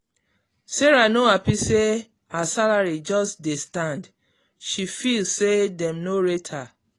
sarah no happy say her salary just dey stand she feel say dem no rate her.